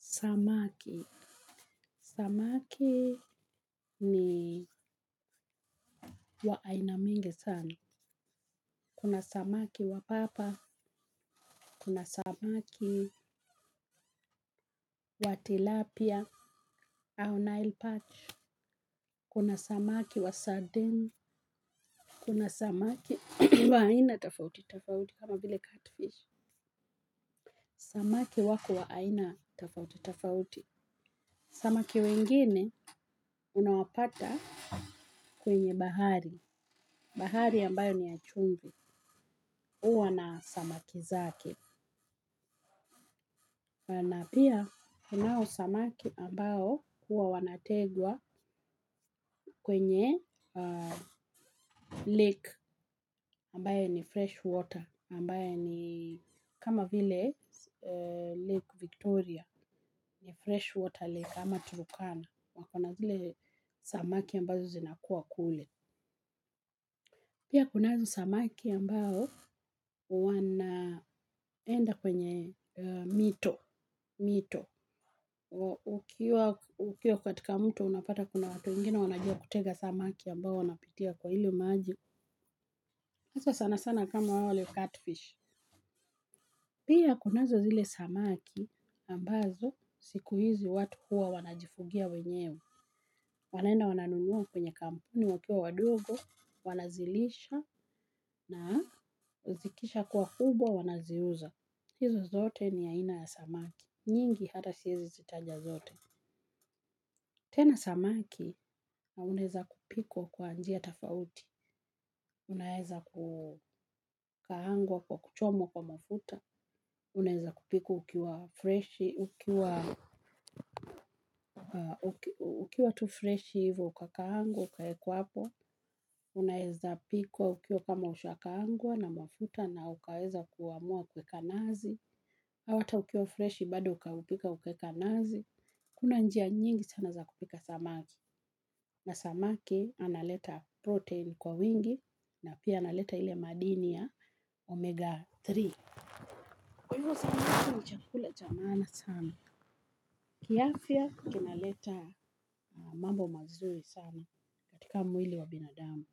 Samaki. Samaki ni wa aina mingi sana. Kuna samaki wa papa, kuna samaki wa tilapia, au nile patch, kuna samaki wa sardine, kuna samaki wa aina tofauti, tofauti kama vile cutfish. Samaki wako wa aina tofauti tofauti. Samaki wengine unawapata kwenye bahari. Bahari ambayo ni ya chumvi. Uwa na samaki zake. Na pia kunao samaki ambao huwa wanategwa kwenye lake ambaye ni fresh water kama vile lake victoria fresh water lake ama Turkana. Wako na zile samaki ambazo zinakuwa kule. Pia kunazo samaki ambao wanaenda kwenye mito. Ukiwa katika mto unapata kuna watu wengine wanajua kutega samaki ambao wanapitia kwa ile maji. Hasa sana sana kama wale cutfish. Pia kunazo zile samaki ambazo siku hizi watu hua wanajifugia wenyewe. Wanaenda wananunua kwenye kampuni wakiwa wadogo, wanazilisha na zikishakuwa kubwa wanaziuza. Hizo zote ni ya ina ya samaki. Nyingi hata siwezi zitaja zote. Tena samaki, unaweza kupikwa kwa njia tofauti. Unaweza kukaangwa kwa kuchomwa kwa mafuta. Unaweza kupikwa ukiwa freshi, ukiwa tu fresh hivo ukakaangwa, uka wekwa hapo. Unaeza pikwa ukiwa kama ushakaangwa na mafuta na ukaweza kuamua kuweka nazi au hata ukiwa fresh bado ukaupika ukaweka nazi. Kuna njia nyingi sana za kupika samaki. Na samaki analeta protein kwa wingi na pia analeta ile madini ya omega tatu. Kwa hivyo samaki ni chakula cha maana sana. Kiafya kina leta mambo mazuri sana katika mwili wa binadamu.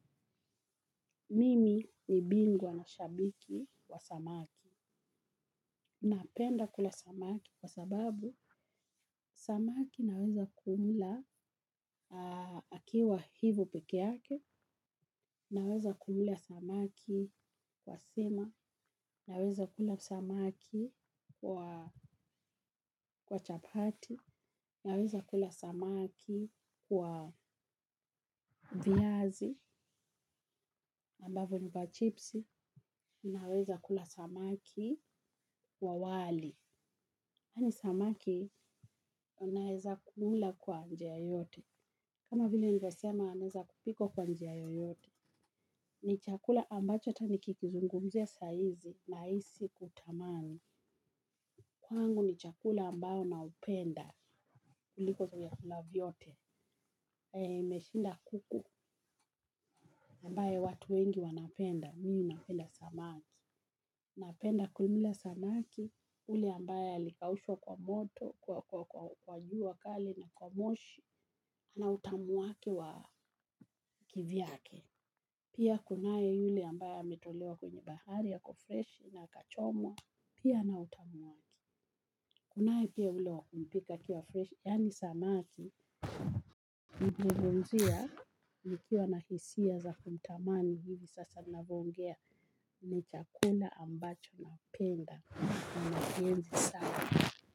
Mimi ni bingwa na shabiki wa samaki. Napenda kula samaki kwa sababu samaki naweza kumla akiwa hivo peke yake, naweza kumla samaki kwa sima, naweza kula samaki kwa chapati, naweza kula samaki kwa viazi, ambavyo ni pa chipsi, naweza kula samaki kwa wali. Kwani samaki, unaweza kumla kwa njia yoyote. Kama vile nilivyosema, inaweza kupikwa kwa njia yoyote. Ni chakula ambacho hata nikikuzungumzia sahizi nahisi kutamani. Kwangu ni chakula ambao na upenda. Kuliko vyakula vyote. Haya imeshinda kuku. Ambaye watu wengi wanapenda. Mimi napenda samaki. Napenda kumla samaki. Ule ambaye alikaushwa kwa moto. Kwa juu kali na kwa moshi. Na utamu wake wa kivyake. Pia kunaye yule ambaye ametolewa kwenye bahari. Yako fresh na akachomwa. Pia na utamu wake. Kunae pia ule wa kumpika akiwa fresh. Yaani samaki. Nilivyozungumzia nikiwa na hisia za kumtamani hivi sasa ninavyo ongea ni chakula ambacho napenda na nahenzi sana.